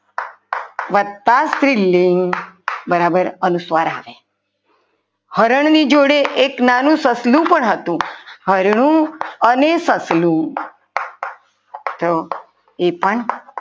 વક્તા સ્ત્રીલિંગ બરાબર અનુસ્વાર આવે હરણની જોડે એક નાનું સસલું પણ હતું હરણ અને સસલું તો એ પણ